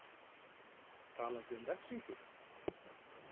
Talandi um refsingu?